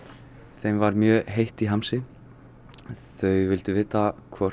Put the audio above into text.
þeim var mjög heitt í hamsi þau vildu vita hvort